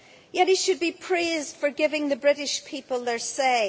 Yet he should be praised for giving the British people their say.